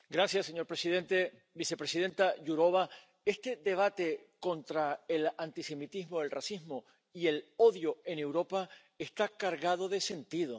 Señor presidente, vicepresidenta Jourová, este debate contra el antisemitismo, el racismo y el odio en Europa está cargado de sentido.